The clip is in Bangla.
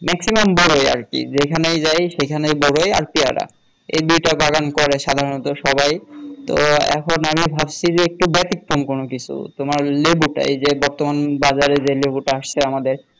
maximum বরই আরকি যেখানে যাই সেখানেই বরই আর পেয়ারা এ দুইটা বাগান করে সাধারণত সবাই তো এখন আমি ভাবছি যে একটু ব্যতিক্রম কোন কিছু তোমার লেবুটি এই যে বর্তমান বাজারে যে লেবুটি আসছে আমাদের